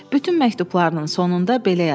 Bütün məktublarının sonunda belə yazır.